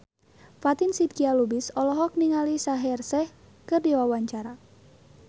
Fatin Shidqia Lubis olohok ningali Shaheer Sheikh keur diwawancara